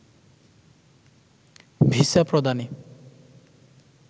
visa প্রদানে